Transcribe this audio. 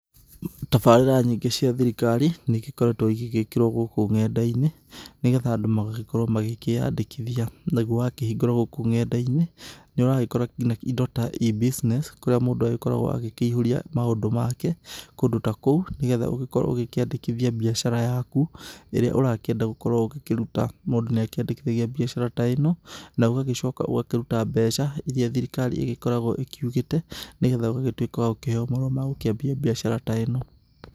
Tabarĩra nyingĩ cia thirikari nĩ igĩkoretwo igĩgĩkĩrwo gũkũ ng'enda-inĩ nĩ getha andũ magagĩkorwo magĩkĩandĩkithia. Nĩguo wakĩhingũra gũkũ ng'enda-inĩ nĩ ũragĩkoa ngina indo ta E-business kũrĩa mũndũ aragĩkorwo agĩkĩihũria maũndũ make kũndũ ta kũu. Nĩ getha ũgĩkorwo ũkĩandĩkithia mbiacara yaku ĩrĩa ũrakĩenda gũkorwo ũkĩruta. Mũndu nĩ akĩandĩkithagia mbiacara ta ĩno na ũgagĩcoka ũgakĩruta mbeca iria thirikari ,ĩgĩkoragwo ĩkiugĩte, nĩ getha ũgagĩtuĩka wa gũkĩheo marũa magũkĩambia mbiacara ta ĩno.